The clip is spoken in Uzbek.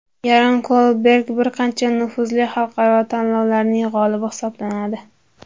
Yaron Kolberg bir qancha nufuzli xalqaro tanlovlarning g‘olibi hisoblanadi.